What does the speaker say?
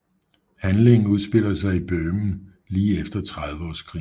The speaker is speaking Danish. Handlingen udspiller sig i Böhmen lige efter Trediveårskrigen